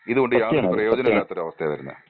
ഇതുകൊണ്ട് യാതൊരു പ്രയോജനവും ഇല്ലാത്ത ഒരു അവസ്ഥയാണ് വരുന്നേ.